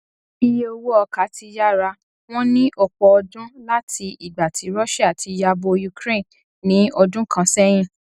iye owó ọkà ti yára wọn ní ọpọ ọdún láti ìgbà tí russia ti yabo ukraine ní ọdún kan sẹyìn